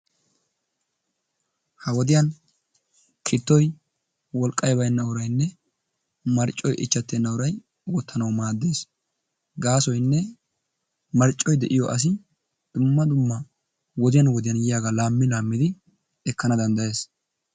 Ha wodiyan kittoy woliqay baynna asanne mishshay injjetenna uray wuttanawu madees. gasoyinne marccoy de'iyo assi dumma dumma wodiyan wodiyan yiyagaa lami lami ekanawu dandayees.